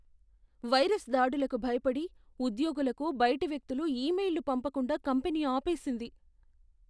Virus దాడులకు భయపడి ఉద్యోగులకు బయటి వ్యక్తులు ఇమెయిల్లు పంపకుండా కంపెనీ ఆపేసింది.